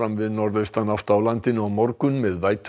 við norðaustanátt á landinu á morgun með vætu